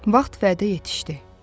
Vaxt vədə yetişdi.